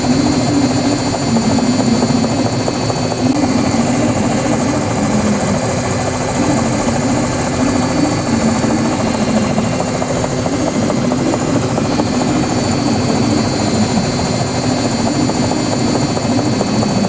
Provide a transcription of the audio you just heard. यह एक महा विद्यालय है। यह विद्यालय बहुत ही बड़ा है। यह विद्यालय रोड के किनारे में ही है। इस विद्यालय के बाहर बहुत सारी गाड़ियां खड़ी है। और यहाँ बोहोत सारे लोग भी है।